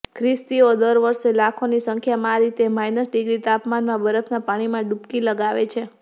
ખ્રિસ્તીઓ દર વર્ષે લાખોની સંખ્યામાં આ રીતે માઈનસ ડિગ્રી તાપમાનમાં બરફના પાણીમાં ડુબકી લગાવે છે